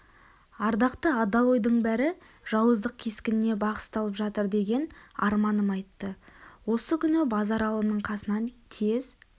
ардақты адал ойдың бәрі жауыздық кескініне бағысталып жатыр деген арманым айтты осы күні базаралының қасынан тез